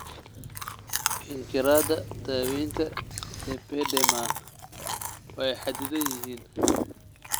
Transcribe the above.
Ikhtiyaarada daawaynta lipedema waa xadidan yihiin.